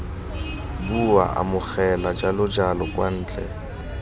bua amogela jalojalo kwa ntle